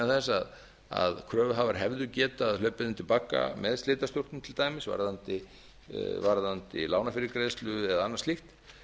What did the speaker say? þess að kröfuhafar hefðu getað hlaupið undir bagga með slitastjórnum til dæmis varðandi lánafyrirgreiðslu eða annað slíkt